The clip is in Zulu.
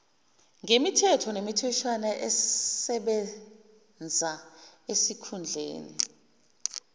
ngemithetho nemitheshwana esebenzaesikhundleni